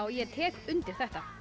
ég tek undir þetta